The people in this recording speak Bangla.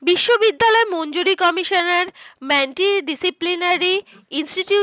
বিশ্ববিদ্যালয়ের মনজুরি কমিশনার disciplinary institution